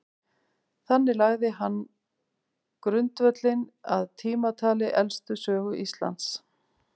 þannig lagði hann grundvöllinn að tímatali elstu sögu íslands